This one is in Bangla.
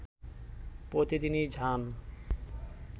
প্রতিদিনই যান